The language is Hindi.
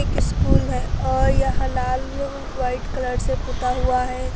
एक स्कूल हैं और यह लाल व्हाईट कलर से पुता हुआ है।